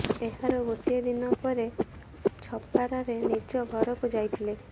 ଏହାର ଗୋଟିଏ ଦିନ ପରେ ଛପରାରେ ନିଜ ଘରକୁ ଯାଇଥିଲେ